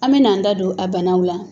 An bɛ n'an da don a banaw la